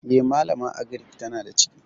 E, malaman agirik tana da ciki.